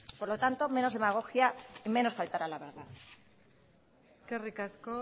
por lo tanto menos demagogia y menos faltar a la verdad eskerrik asko